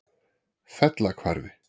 Fellahvarfi